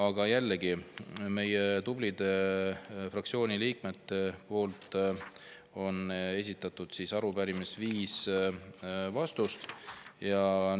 Meie fraktsiooni tublide liikmete esitatud arupärimises on viis.